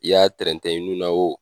I y'a trɛntɛ i nun na